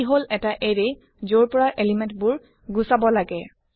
ই হল এটা এৰে যৰ পৰা এলিমেণ্ট বোৰ গুচাব লাগে